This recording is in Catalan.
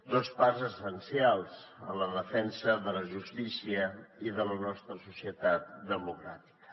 dos parts essencials en la defensa de la justícia i de la nostra societat democràtica